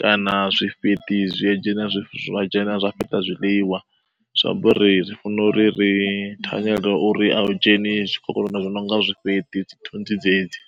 kana zwifheṱi zwi dzhena zwi zwa dzhena zwa fheṱa zwiḽiwa? Zwi amba uri ri funa uri ri thanyela uri a u dzheni zwikhokhonono zwi no nga zwifheṱi, dzithunzi dzedzi.